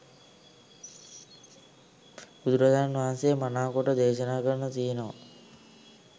බුදුරජාණන් වහන්සේ මනාකොට දේශනා කරල තියෙනවා.